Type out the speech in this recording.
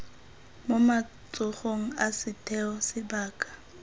mo matsogong a setheo sebaka